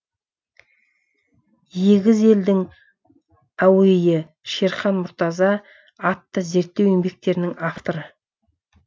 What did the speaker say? егіз елдің әуейі шерхан мұртаза атты зерттеу еңбектерінің авторы